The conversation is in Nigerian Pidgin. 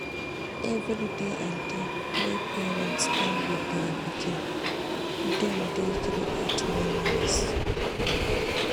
Every day and time wey parents spend with their pikin dem dey create memories